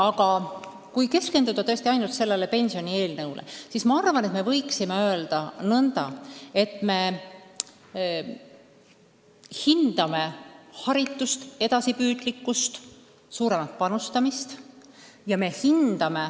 Aga kui keskenduda ainult sellele pensionieelnõule, siis arvan, et võiksime öelda nõnda, et me hindame haritust, edasipüüdlikkust ja suuremat panustamist.